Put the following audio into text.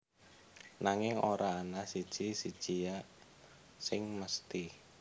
Nanging ora ana siji sijia sing mesthi